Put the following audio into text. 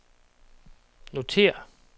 notér